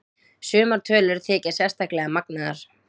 Sumar tölur þykja sérstaklega magnaðar.